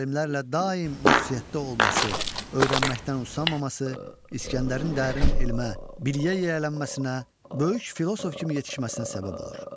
Alimlərlə daim ünsiyyətdə olması, öyrənməkdən usanmaması İsgəndərin dərin elmə, biliyə yiyələnməsinə, böyük filosof kimi yetişməsinə səbəb olur.